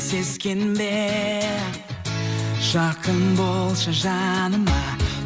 сескенбе жақын болшы жаныма